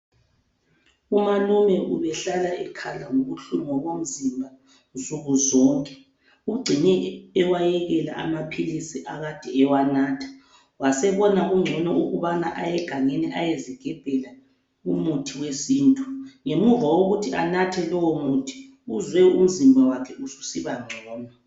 Umalume ubehlala ekhala ngobuhlungu bomzimba nsuku zonke, ugcine ewayekela amaphilisi akade ewanatha wasebona kungcono ukubana aye gangeni ayezigebhela umuthi wesintu, ngemuva kokuthi anathe lowu muthi uzwe umzimba wakhe usiba ngcono.